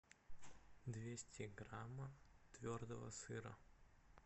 двести граммов твердого сыра